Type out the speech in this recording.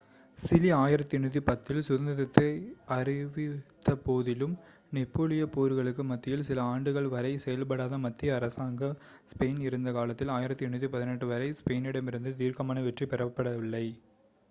Chile 1810 இல் சுதந்திரத்தை அறிவித்தபோதிலும் நெப்போலியப் போர்களுக்கு மத்தியில் சில ஆண்டுகள் வரை செயல்படாத மத்திய அரசாங்கமாக ஸ்பெயின் இருந்த காலத்தில் 1818 வரை ஸ்பெயினிடமிருந்து தீர்க்கமான வெற்றி பெறப்படவில்லை